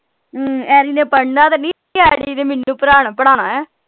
ਹਮ ਨੇ ਪੜ੍ਹਨਾ ਤਾਂ ਨਹੀਂ ਨੇ ਮੈਨੂੰ ਪੜ੍ਹਾਨਾ ਏ